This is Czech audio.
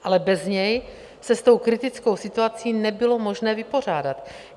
Ale bez něj se s tou kritickou situací nebylo možné vypořádat.